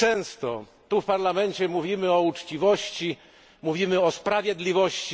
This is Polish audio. Tak często tu w Parlamencie mówimy o uczciwości, mówimy o sprawiedliwości.